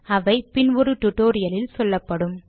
அவை பின் ஒரு டுடோரியலில் சொல்லப்படும்